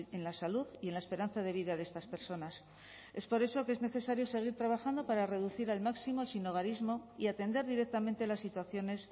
en la salud y en la esperanza de vida de estas personas es por eso que es necesario seguir trabajando para reducir al máximo el sinhogarismo y atender directamente las situaciones